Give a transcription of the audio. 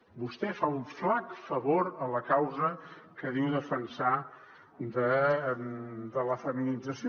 vostè fa un flac favor a la causa que diu defensar de la feminització